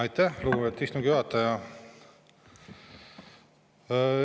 Aitäh, lugupeetud istungi juhataja!